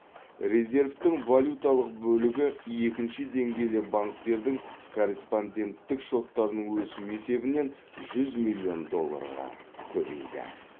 резервтің валюталық бөлігі екінші деңгейлі банктердің корреспонденттік шоттарының өсуі есебінен жүз миллион долларға көбейді